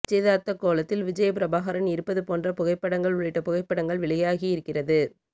நிச்சயதார்த்தக் கோலத்தில் விஜயபிரபாகரன் இருப்பது போன்ற புகைப்படங்கள் உள்ளிட்ட புகைப்படங்கள் வெளியாகியிருக்கிறது